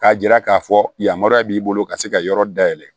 K'a jira k'a fɔ yamaruya b'i bolo ka se ka yɔrɔ dayɛlɛ